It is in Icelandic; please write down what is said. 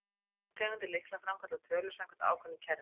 Báðar tegundir lykla framkalla tölur samkvæmt ákveðnu kerfi.